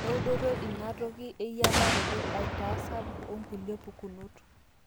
eudoto ina toki eyiataroto aitaa sapuk onkulie pukunot